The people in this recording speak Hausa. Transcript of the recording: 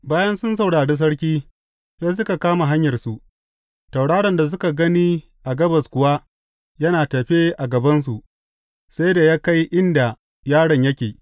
Bayan sun saurari sarki, sai suka kama hanyarsu, tauraron da suka gani a gabas kuwa yana tafe a gabansu, sai da ya kai inda yaron yake.